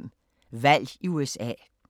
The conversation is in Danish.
00:05: Valg i USA